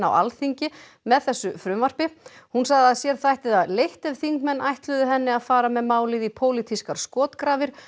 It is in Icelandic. Alþingi með þessu frumvarpi hún sagði að sér þætti það leitt ef þingmenn ætluðu henni að fara með málið í pólitískar skotgrafir